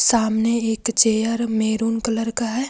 सामने एक chair maroon colour का है।